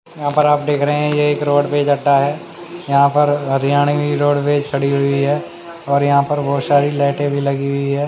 यहां पर आप देख रहे हैं ये एक रोडवेज अड्डा है यहां पर हरियाणवी रोडवेज खड़ी हुई है और यहां पर बहोत सारी लाइटें भी लगी हुई हैं।